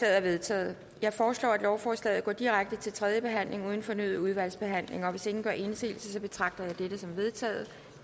er vedtaget jeg foreslår at lovforslaget går direkte til tredje behandling uden fornyet udvalgsbehandling og hvis ingen gør indsigelse betragter jeg dette som vedtaget